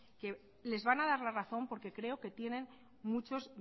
que les van a dar la razón porque creo que tienen muchos